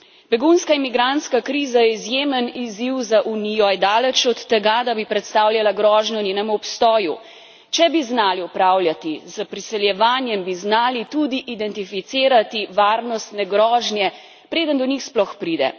Begunska in migrantska kriza je izjemen izziv za Unijo, a je daleč od tega, da bi predstavljala grožnjo njenemu obstoju. Če bi znali upravljati s priseljevanjem, bi znali tudi identificirati varnostne grožnje, preden do njih sploh pride.